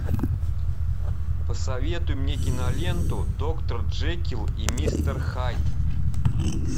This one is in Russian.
посоветуй мне киноленту доктор джекилл и мистер хайд